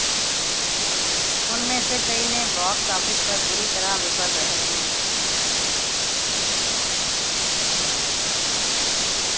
उनमें से कई ने बॉक्स ऑफिस पर बुरी तरह विफल रहे हैं